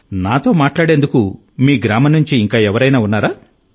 నాతో మాట్లాడేందుకు మీ గ్రామం నుండి ఇంకా ఎవరైనా ఉన్నారా